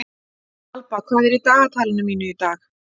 Alba, hvað er í dagatalinu mínu í dag?